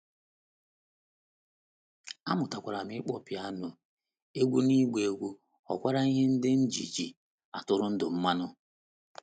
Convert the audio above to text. Amụtakwara m ịkpọ pịano, egwú na ịgba egwú ghọkwara ihe ndị m ji ji atụrụ ndụ m mmanụ.